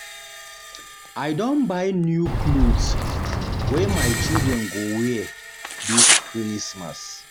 I don buy new clothes wey my children go wear dis Christmas.